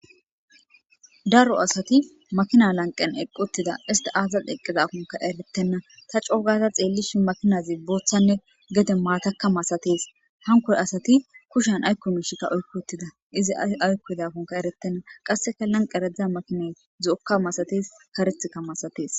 darro assati makinna laniqeni eqi uttidda esiti azasi eqidakoka erttena ta coo gada xelishini makinazi bothanne gede matta maasatesi hanikko asati kushiyani ayiko misha oyikki utidda izi ayi oyikidakko erretena hanikko makinati zo'oka malatesi